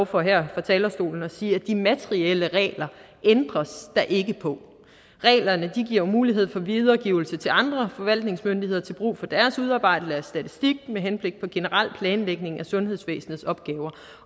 for her fra talerstolen at sige at de materielle regler ændres der ikke på reglerne giver jo mulighed for videregivelse til andre forvaltningsmyndigheder til brug for deres udarbejdelse af statistik med henblik på generel planlægning af sundhedsvæsenets opgaver